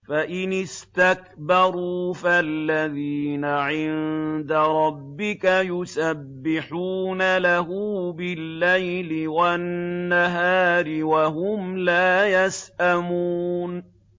فَإِنِ اسْتَكْبَرُوا فَالَّذِينَ عِندَ رَبِّكَ يُسَبِّحُونَ لَهُ بِاللَّيْلِ وَالنَّهَارِ وَهُمْ لَا يَسْأَمُونَ ۩